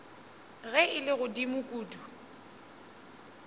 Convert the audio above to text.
ge e le godimo kudu